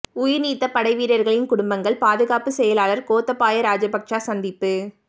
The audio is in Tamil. உயிர்நீத்த படைவீரர்களின் குடும்பங்கள் பாதுகாப்பு செயலாளர் கோத்தபாய ராஜபக்ச சந்திப்பு